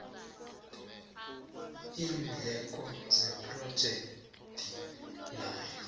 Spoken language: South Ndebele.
iindleko zephrojekhthi nawo